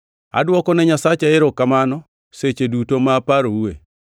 Adwokone Nyasacha erokamano seche duto ma aparoue.